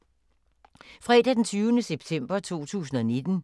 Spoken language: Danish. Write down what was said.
Fredag d. 20. september 2019